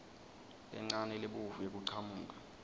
lencane lebovu yekuchamuka